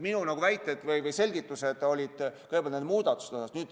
Minu väited või selgitused olid praegu nende muudatuste kohta.